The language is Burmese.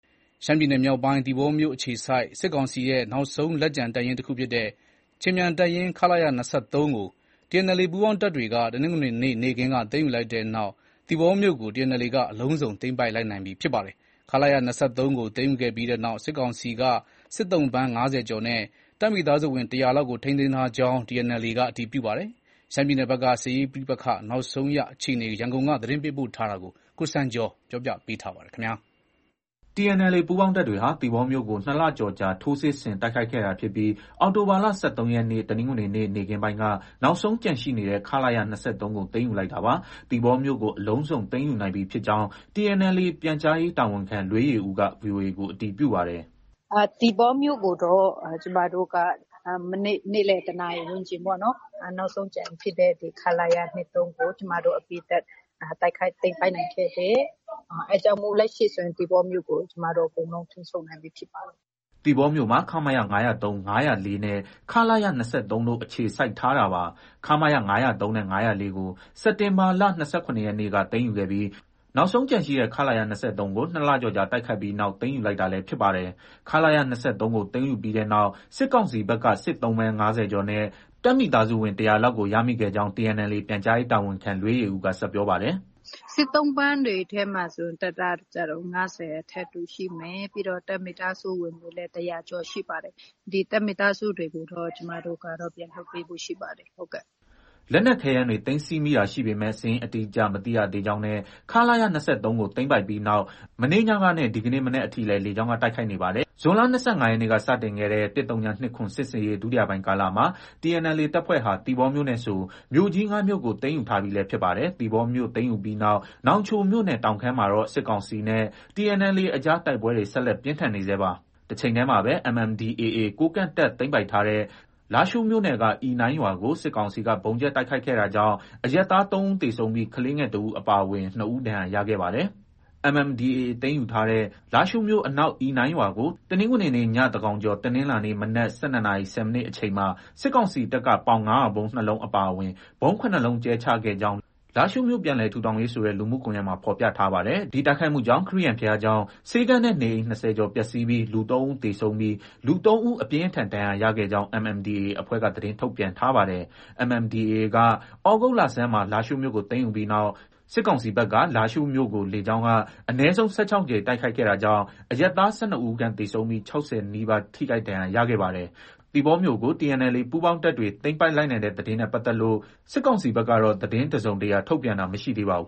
ရှမ်းပြည်နယ်မြောက်ပိုင်း သီပေါမြို့အခြေစိုက် စစ်ကောင်စီရဲ့နောက်ဆုံးလက်ကျန်တပ်ရင်းတခုဖြစ်တဲ့ ခြေမြန်တပ်ရင်း ခလရ ၂၃ ကို TNLA ပူးပေါင်းတပ်တွေက တနင်္ဂနွေနေ့ နေ့ခင်းက သိမ်းယူလိုက်တဲ့နောက် သီပေါမြို့ကို TNLA က အလုံးစုံသိမ်းပိုက်နိုင်လိုက်ပြီဖြစ်ပါတယ်။ ခလရ ၂၃ကို သိမ်းယူပြီးတဲ့နောက် စစ်ကောင်စီဘက်က စစ်သုံ့ပန်း ၅၀ကျော်နဲ့ တပ်မိသားစုဝင် ၁၀၀ လောက်ကို ထိန်းသိမ်းထားကြောင်း TNLA အတည်ပြုပါတယ်။ ရှမ်းပြည်နယ်ဘက်က စစ်ရေးပဋိပက္ခနောက်ဆုံးအခြေအနေ ရန်ကုန်က သတင်းပေးပို့ထားပါတယ်။ TNLA ပူးပေါင်းတပ်တွေဟာ သီပေါမြို့ကို ၂လကျော်ကြာ ထိုးစစ်ဆင် တိုက်ခိုက်ခဲ့တာဖြစ်ပြီး အောက်တိုဘာလ ၁၃ရက်နေ့ တနင်္ဂနွေနေ့ နေ့ခင်းပိုင်းက နောက်ဆုံးကျန်ရှိနေတဲ့ ခလ၇ ၂၃ကို သိမ်းယူလိုက်တာပါ။ သီပေါမြို့ကို အလုံးစုံ သိမ်းယူနိုင်ပြီဖြစ်ကြောင်း TNLA ပြန်ကြားရေးတာဝန်ခံ လွေးယေဦးက VOA ကို အတည်ပြုပါတယ်။ “ သီပေါမြို့ကိုတော့ ကျမတို့က မနေ့ နေ့လည် ၁နာရီဝန်းကျင်ပေါ့နော်။ နောက်ဆုံးကျန်ရှိတဲ့ ခလရ ၂၃ကို ကျမတို့ အပြီးသတ် တိုက်ခိုက်သိမ်းပိုက်နိုင်ခဲ့တယ်။ အဲဒါကြောင့် လက်ရှိဆိုရင် သီပေါမြို့ကို ကျမတို့ အကုန်လုံး ထိန်းချုပ်နိုင်ပြီဖြစ်ပါတယ်။” သီပေါမြို့မှာ ခမရ ၅၀၃၊ ၅၀၄နဲ့ ခလရ ၂၃တို့ အခြေစိုက် ထားတာပါ။ ခမရ ၅၀၃နဲ့ ၅၀၄ကို စက်တင်ဘာလ ၂၇ရက်နေ့က သိမ်းယူခဲ့ပြီး နောက်ဆုံး ကျန်ရှိတဲ့ ခလရ ၂၃ကို ၂လကျော်ကြာတိုက်ခိုက်ပြီးနောက် သိမ်းယူလိုက်တာလည်းဖြစ်ပါတယ်။ ခလရ ၂၃ကို သိမ်းယူပြီးတဲ့နောက် စစ်ကောင်စီဘက်က စစ်သုံ့ပန်း ၅၀ကျော်နဲ့ တပ်မိသားစုဝင် ၁၀၀ လောက်ကို ရမိခဲ့ကြောင်း TNLA ပြန်ကြားရေးတာဝန်ခံ လွေးယေဦးက ဆက်ပြောပါတယ်။ “ စစ်သုံ့ပန်းတွေထဲမှာဆို တပ်သားကျတော့ ၅၀ အထက်ရှိမယ်။ ပြီးတော့ တပ်မိသားစုဝင်တွေလည်း ၁၀၀ကျော် ရှိပါတယ်။ ဒီတပ်မိသားစုတွေကိုတော့ ကျမတို့က ပြန်လွှတ်ပေးဖို့ရှိပါတယ်။” လက်နက်ခဲယမ်းတွေ သိမ်းဆည်းမိတာရှိပေမဲ့ စာရင်းအတိအကျ မသိရသေးကြောင်းနဲ့ ခလရ ၂၃ ကို သိမ်းပိုက်ပြီးနောက် မနေ့ညကနဲ့ ဒီကနေ့မနက်အထိလည်း လေကြောင်းက တိုက်ခိုက်နေပါတယ်။ ဇွန်လ ၂၅ရက်နေ့က စတင်ခဲ့တဲ့ ၁၀၂၇ စစ်ဆင်ရေး ဒုတိယပိုင်းကာလမှာ TNLA တပ်ဖွဲ့ဟာ သီပေါမြို့နဲ့ဆို မြို့ကြီး ၅မြို့ကို သိမ်းယူထားပြီလည်းဖြစ်ပါတယ်။ သီပေါမြို့သိမ်းယူပြီးနောက် နောင်ချိုမြို့နယ် တောင်ခမ်းမှာတော့ စစ်ကောင်စီနဲ့ TNLA အကြား တိုက်ပွဲတွေ ဆက်လက် ပြင်းထန်နေဆဲပါ။ တချိန်တည်းမှာပဲ MNDAA ကိုးကန့်တပ်သိမ်းပိုက်ထားတဲ့ လားရှိုးမြို့နယ်က အီနိုင်းရွာကို စစ်ကောင်စီက ဗုံးကြဲတိုက်ခိုက်ခဲ့တာကြောင့် အရပ်သား ၃ဦးသေဆုံးပြီး ကလေးငယ်တဦးအပါအဝင် ၂ဦး ဒဏ်ရာရခဲ့ပါတယ်။ MNDAA သိမ်းယူထားတဲ့ လားရှိုးမြို့အနောက် အီနိုင်ရွာကို တနင်္ဂနွေနေ့ ည သန်းခေါင်ကျော် တနင်္လာနေ့ မနက် ၁၂နာရီ ၁၀မိနစ်အချိန်မှာ စစ်ကောင်စီတပ်က ပေါင် ၅၀၀ဗုံး ၂လုံးအပါအဝင် ဗုံး ၇လုံးကြဲချခဲ့ကြောင်း လားရှိုးမြို့ ပြန်လည်ထူထောင်ရေး ဆိုတဲ့ လူမှုကွန်ရက်မှာ ဖော်ပြပါတယ်။ ဒီတိုက်ခိုက်မှုကြောင့် ခရစ်ယာန်ဘုရားကျောင်း၊ ဆေးခန်းနဲ့နေအိမ် ၂၀ကျော် ပျက်ဆီးပြီး လူ၃ဦးသေဆုံးပြီး လူ ၃ဦး အပြင်းအထန် ဒဏ်ရာရခဲ့ကြောင်း MNDAA အဖွဲ့က သတင်းထုတ်ပြန်ထားပါတယ်။ MNDAAက သြဂုတ်လဆန်းမှာ လားရှိုးမြို့ကို သိမ်းယူပြီးနောက် စစ်ကောင်စီဘက်က လားရှိုးမြို့နယ်ကို လေကြောင်းက အနည်းဆုံး ၁၆ကြိမ် တိုက်ခိုက်ခဲ့တာကြောင့် အရပ်သား ၁၂ဦးခန့် သေဆုံးပြီး ၆၀နီးပါး ထိခိုက်ဒဏ်ရာရခဲ့ပါတယ်။ သီပေါမြို့ ကို TNLA ပူးပေါင်းတပ်တွေ သိမ်းလိုက်နိုင်တဲ့သတင်းနဲ့ပတ်သက်လို့စစ်ကောင်စီဘက်ကတော့ သတင်းတစုံတရာ ထုတ်ပြန်တာမရှိသေးပါဘူး